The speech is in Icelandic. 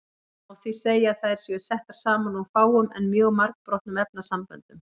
Það má því segja að þær séu settar saman úr fáum en mjög margbrotnum efnasamböndum.